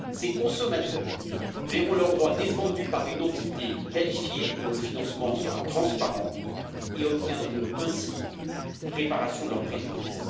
Ces consommateurs verront leurs droits défendus par une entité qualifiée dont le financement sera transparent et ils obtiendront ainsi réparation de leur préjudice.